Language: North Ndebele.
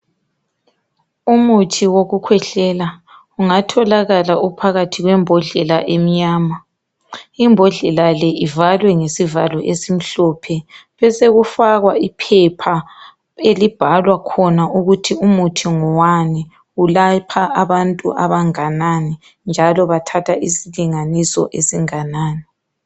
Umuthi wekukwehlela ungatholakala usebhodleni emnyama. Ibhodlela le ivalwe ngesivalo esimhlophe. Kwesekufakwa iphepha elibhalwa khona ukuthi umuthi ngowani, ulapha abantu abangakanani njalo bathatha isilinganiso esinganani.